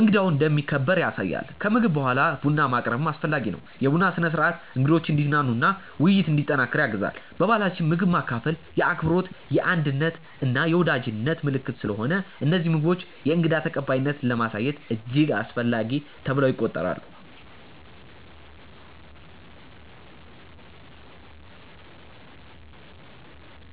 እንግዳው እንደሚከበር ያሳያል። ከምግብ በኋላ ቡና ማቅረብም አስፈላጊ ነው። የቡና ስነ-ሥርዓት እንግዶችን እንዲዝናኑ እና ውይይት እንዲጠናከር ያግዛል። በባህላችን ምግብ ማካፈል የአክብሮት፣ የአንድነት እና የወዳጅነት ምልክት ስለሆነ እነዚህ ምግቦች የእንግዳ ተቀባይነትን ለማሳየት እጅግ አስፈላጊ ተብለው ይቆጠራሉ